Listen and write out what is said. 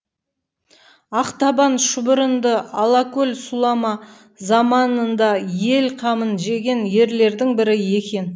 ақтабан шұбырынды алқакөл сұлама заманында ел қамын жеген ерлердің бірі екен